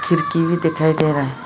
खिड़की भी दिखाई दे रहा है।